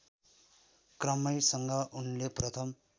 क्रमैसँग उनले प्रथम